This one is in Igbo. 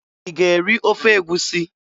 Ị ga-eri ofe egwusi?